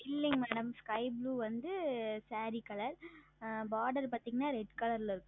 ஆஹ் இல்லை MadamSky Blue வந்து Saree Color Border பார்த்தீர்கள் என்றால் Red Color ல இருக்கும்